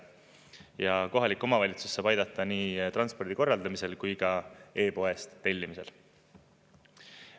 Ja kohalik omavalitsus saab aidata nii transpordi korraldamisel kui ka e-poest tellimisel.